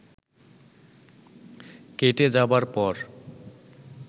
কেটে যাবার পর